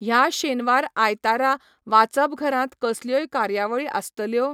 ह्या शेनवार आयतारा वाचपघरांत कसल्योय कार्यावळी आसतल्यो?